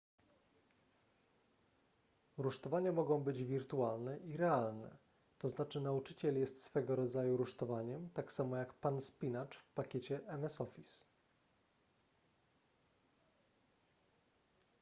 rusztowania mogą być wirtualne i realne tzn nauczyciel jest swego rodzaju rusztowaniem tak samo jak pan spinacz w pakiecie ms office